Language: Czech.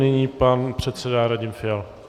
Nyní pan předseda Radim Fiala.